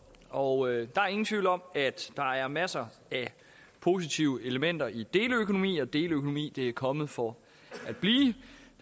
og der er ingen tvivl om at der er masser af positive elementer i deleøkonomi og at deleøkonomi er kommet for